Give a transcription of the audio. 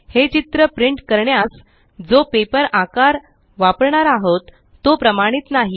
हे चित्र प्रिंट करण्यास जो पेपर आकार वापरणार आहोत तो प्रमाणित नाही